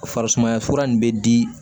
Farisumaya fura nin bɛ di